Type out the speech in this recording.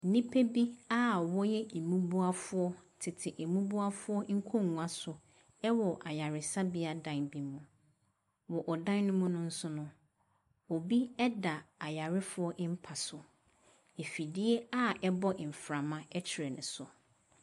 Nnipa bi a wɔyɛ mmubuafoɔ tete mmubuafoɔ nkonnwa so wɔ ayaresabea dan bi mu. Wɔ dan no mu no nso no, obi da ayarefoɔ mpa so. Afidie a ɛbɔ mframa kyerɛ no so.